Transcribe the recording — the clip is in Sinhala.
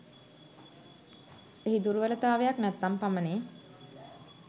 එහි දුර්වලතාවයක් නැත්නම් පමණි.